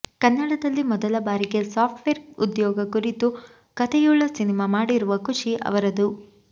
ಕನ್ನಡದಲ್ಲಿ ಮೊದಲ ಬಾರಿಗೆ ಸಾಫ್ಟ್ವೇರ್ ಉದ್ಯೋಗ ಕುರಿತ ಕಥೆಯುಳ್ಳ ಸಿನಿಮಾ ಮಾಡಿರುವ ಖುಷಿ ಅವರದು